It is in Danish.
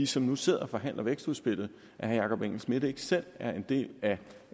som nu sidder og forhandler vækstudspillet at herre jakob engel schmidt ikke selv er en del